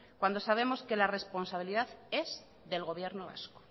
cuando sabemos que la responsabilidad es del gobierno vasco